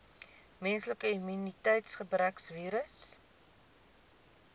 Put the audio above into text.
menslike immuniteitsgebrekvirus